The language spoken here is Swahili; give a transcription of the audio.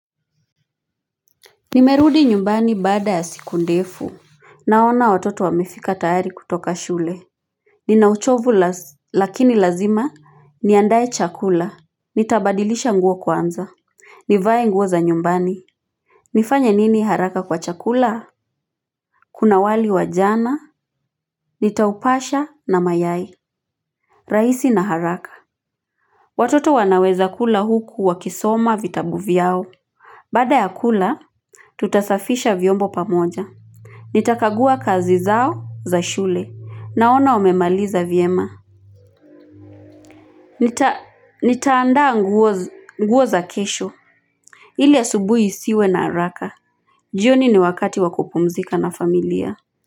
Nimerudi nyumbani baada ya siku ndefu naona watoto wamefika tayari kutoka shule nina uchovu lakini lazima niandae chakula. Nitabadilisha nguo kwanza nivae nguo za nyumbani nifanya nini haraka kwa chakula kuna wali wa jana nitaupasha na mayai rahisi na haraka watoto wanaweza kula huku wakisoma vitabu vyao baada ya kula tutasafisha vyombo pamoja Nitakagua kazi zao za shule. Naona wamemaliza vyema. Nitaandaa nguo, nguo za kesho. Ili asubuhi isiwe na haraka. Jioni ni wakati wa kupumzika na familia.